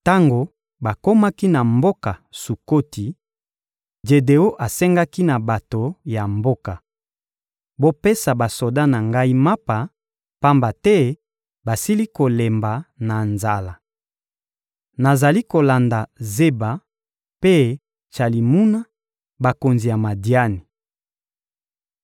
Tango bakomaki na mboka Sukoti, Jedeon asengaki na bato ya mboka: — Bopesa basoda na ngai mapa, pamba te basili kolemba na nzala. Nazali kolanda Zeba mpe Tsalimuna, bakonzi ya Madiani.